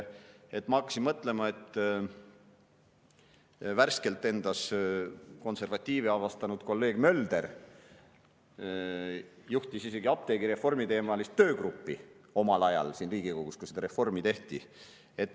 Ma hakkasin mõtlema, et värskelt endas konservatiivi avastanud kolleeg Mölder juhtis isegi apteegireformiteemalist töögruppi omal ajal siin Riigikogus, kui seda reformi tehti.